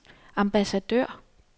ambassadør